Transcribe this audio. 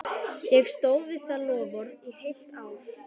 Ég stóð við það loforð í heilt ár.